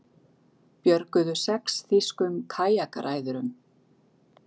Björguðu sex þýskum kajakræðurum